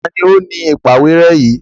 Ta ni ó ni ìpàwérẹ́ yìí?